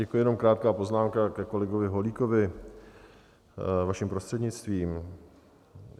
Děkuji, jenom krátká poznámka ke kolegovi Holíkovi, vaším prostřednictvím.